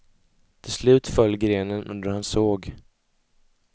Till slut föll grenen under hans såg.